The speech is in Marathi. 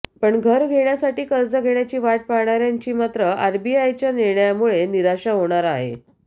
पण घर घेण्यासाठी कर्ज घेण्याची वाट पाहणार्यांची मात्र आरबीआयच्या निर्णयामुळे निराशा होणार आहे